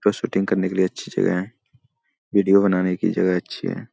का शूटिंग करने के लिए अच्छी जगह है वीडियो बनाने की जगह अच्छी है।